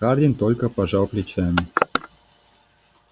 хардин только пожал плечами